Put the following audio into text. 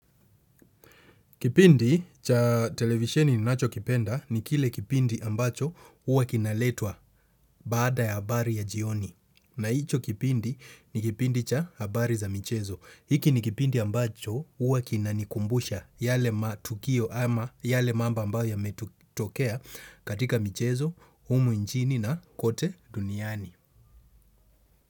Kipindi cha televisheni ninachokipenda ni kile kipindi ambacho huwa kinaletwa baada ya habari ya jioni. Na hicho kipindi ni kipindi cha habari za michezo. Hiki ni kipindi ambacho huwa kinanikumbusha yale matukio ama yale mambo ambayo yametokea katika michezo, humu nchini na kote duniani.